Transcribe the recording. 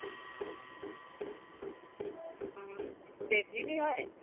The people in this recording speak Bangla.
হম দেড় GB হয়